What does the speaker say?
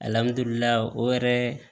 o yɛrɛ